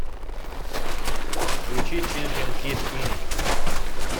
включи чемпион кид инк